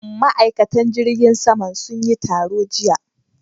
Ma'aikatan jirgin saman sun yi taro jiya.